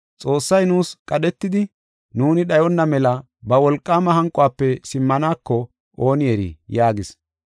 Xoossay nuus qadhetidi, nuuni dhayona mela ba wolqaama hanquwafe simmaneko ooni eri!” yaagis.